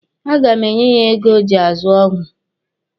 A ga m enye ya ego o ji azụ ọgwụ.